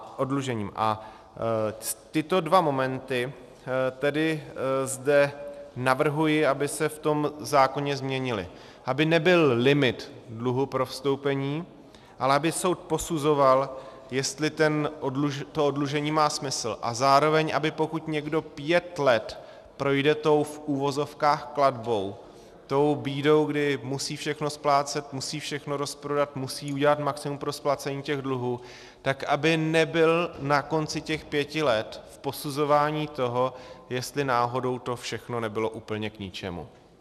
A tyto dva momenty tedy zde navrhuji, aby se v tom zákoně změnily, aby nebyl limit dluhu pro vstoupení, ale aby soud posuzoval, jestli to oddlužení má smysl, a zároveň, aby pokud někdo pět let projde tou v uvozovkách klatbou, tou bídou, kdy musí všechno splácet, musí všechno rozprodat, musí udělat maximum pro splacení těch dluhů, tak aby nebyl na konci těch pěti let v posuzování toho, jestli náhodou to všechno nebylo úplně k ničemu.